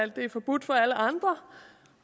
det er forbudt for alle andre